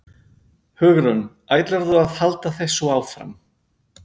Hugrún: Ætlarðu að halda þessu áfram?